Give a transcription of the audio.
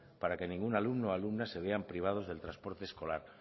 para que ningún alumno y alumna se vean privados del transporte escolar